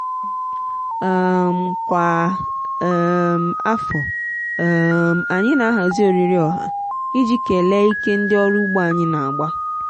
n'oge mmemme ọrụ ugbo ụmụ ụmụ nwanyị na-egosi nri ọdịnala sitere na ihe ubi dị iche iche.